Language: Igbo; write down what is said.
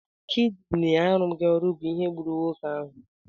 Kidini arụghi ọrụ bụ ihe gburu nwoke ahụ.